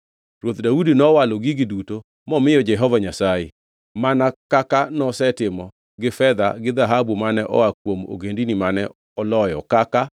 Ruoth Daudi nowalo gigi duto momiyo Jehova Nyasaye, mana kaka nosetimo gi fedha gi dhahabu mane oa kuom ogendini mane oloyo kaka: